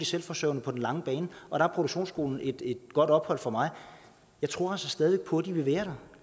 selvforsørgende på den lange bane der er produktionsskolen et godt ophold for mig jeg tror altså stadig på at de vil være der